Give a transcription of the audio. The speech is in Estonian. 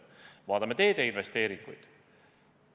Vaatame teede investeeringuid.